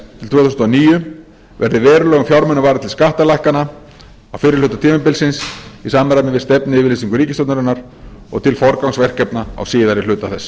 til tvö þúsund og níu verði verulegum fjármunum varið til skattalækkana á fyrri hluta tímabilsins í samræmi við stefnuyfirlýsingu ríkisstjórnarinnar og til forgangsverkefna á síðari hluta þess